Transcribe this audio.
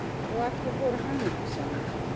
Og allir voru hamingjusamir.